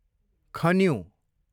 खन्यु